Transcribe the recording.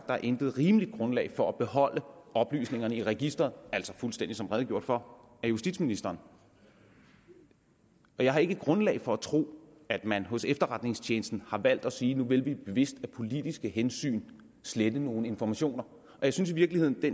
der intet rimeligt grundlag er for at beholde oplysningerne i registeret altså fuldstændig som redegjort for af justitsministeren jeg har ikke grundlag for at tro at man hos efterretningstjenesten har valgt at sige nu vil vi bevidst af politiske hensyn slette nogle informationer jeg synes i virkeligheden at